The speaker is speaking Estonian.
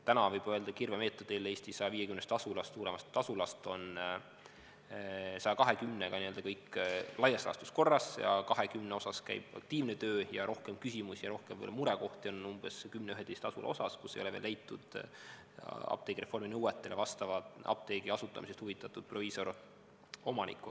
Täna võib öelda, kirvemeetodil, et Eesti 150 suuremast asulast on 120-ga kõik laias laastus korras, 20-ga käib aktiivne töö ja rohkem küsimusi ja rohkem murekohti on 10–11 asulas, kus ei ole veel leitud apteegireformi nõuetele vastava apteegi asutamisest huvitatud proviisoromanikku.